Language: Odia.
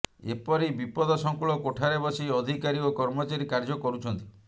ଏପରି ବିପଦସଙ୍କୁଳ କୋଠାରେ ବସି ଅଧିକାରୀ ଓ କର୍ମଚାରୀ କାର୍ଯ୍ୟ କରୁଛନ୍ତି